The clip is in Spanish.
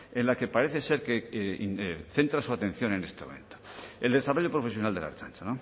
en la que parece ser que centra su atención en este momento el desarrollo profesional de la ertzaintza